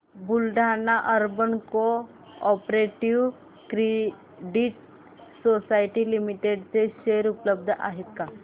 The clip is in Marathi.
Buldhana urban cooperative credit society limited चे शेअर उपलब्ध आहेत का